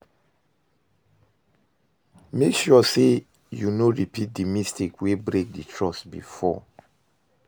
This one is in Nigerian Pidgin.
mek sure sey you no repeat di mistake wey break di trust bifor